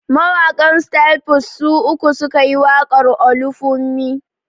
Mawaƙan Styl Plus su uku su ka yi waƙar "Olufunmi".